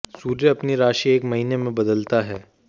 सूर्य अपनी राशि एक महीने में बदलता है